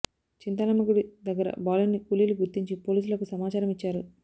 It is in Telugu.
చింతాలమ్మ గుడి దగ్గర బాలుడిని కూలీలు గుర్తించి పోలీసులకు సమాచారం ఇచ్చారు